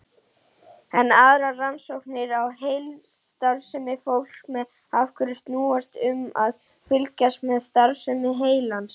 Enn aðrar rannsóknir á heilastarfsemi fólks með einhverfu snúast um að fylgjast með starfsemi heilans.